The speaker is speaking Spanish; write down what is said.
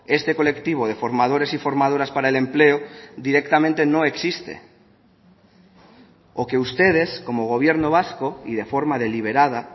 este colectivo de formadores y formadoras para el empleo directamente no existe o que ustedes como gobierno vasco y de forma deliberada